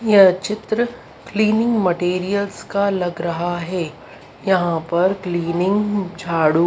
यह चित्र cleaning materials का लग रहा है यहां पर क्लीनिंग झाड़ू--